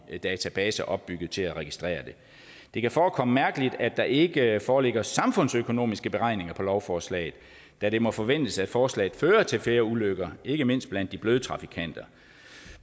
databaser opbygget til at registrere det det kan forekomme mærkeligt at der ikke foreligger samfundsøkonomiske beregninger af lovforslaget da det må forventes at forslaget fører til flere ulykker ikke mindst blandt de bløde trafikanter